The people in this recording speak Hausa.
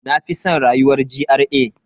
Na fi san rayuwar GRA.